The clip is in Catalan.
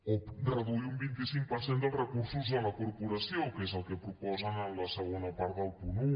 o reduir un vint cinc per cent dels recursos de la corporació que és el que proposen en la segona part del punt un